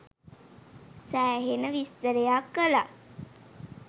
සෑහෙන විස්තරයක් කලා